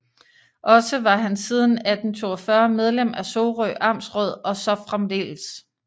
Også var han siden 1842 medlem af Sorø Amtsråd og så fremdeles